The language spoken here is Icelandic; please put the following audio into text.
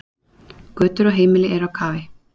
Götur og heimili eru á kafi